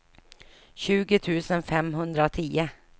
tjugo tusen femhundratio